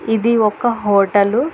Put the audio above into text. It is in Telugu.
ఇది ఒక హోటలు .